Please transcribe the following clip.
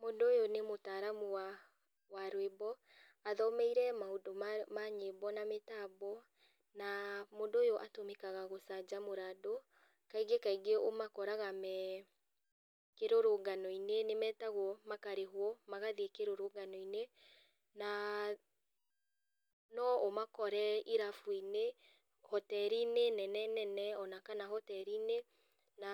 Mũndũ ũyũ nĩmũtaramu wa wa rwĩmbo, athomeire maũndũ ma nyĩmbo na mĩtambo, na mũndũ ũyũ atũmĩkaga gũcanjamũra andũ, kaingĩ kaingĩ ũmakoraga me kĩrũrũnganoinĩ, nĩmetagwo makarĩhwo magathiĩ kĩrũrũnganoinĩ, na no ũmakore irabuinĩ, hoterinĩ nene nene, ona kana hoterinĩ na